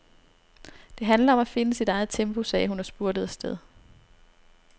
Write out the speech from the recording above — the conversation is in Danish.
Det handler om at finde sit eget tempo, sagde hun og spurtede afsted.